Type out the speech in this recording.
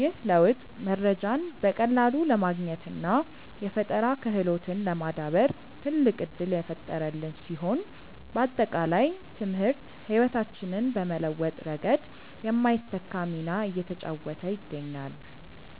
ይህ ለውጥ መረጃን በቀላሉ ለማግኘትና የፈጠራ ክህሎትን ለማዳበር ትልቅ ዕድል የፈጠረልን ሲሆን፣ ባጠቃላይ ትምህርት ሕይወታችንን በመለወጥ ረገድ የማይተካ ሚና እየተጫወተ ይገኛል።